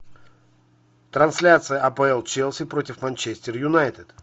трансляция апл челси против манчестер юнайтед